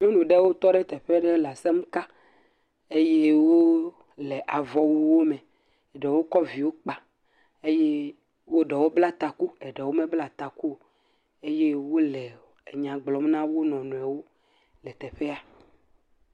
Nyɔnu ɖewo tɔ ɖe teƒe ɖe le asem ka eye wole avɔwuwo me. Ɖewo kɔ viwo kpa eye wo ɖewo bla taku ɖewo mebla taku o eye wole enya gblɔm na wo nɔnɔewo le teƒea.